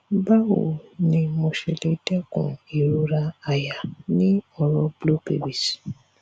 bawo ni mo le se se deku irora aya ni oro blue babies